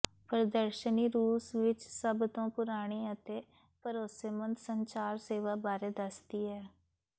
ਪ੍ਰਦਰਸ਼ਨੀ ਰੂਸ ਵਿਚ ਸਭ ਤੋਂ ਪੁਰਾਣੀ ਅਤੇ ਭਰੋਸੇਮੰਦ ਸੰਚਾਰ ਸੇਵਾ ਬਾਰੇ ਦੱਸਦੀ ਹੈ